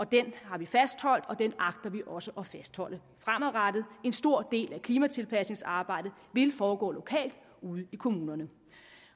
den har vi fastholdt og den agter vi også at fastholde fremadrettet en stor del af klimatilpasningsarbejdet vil foregå lokalt ude i kommunerne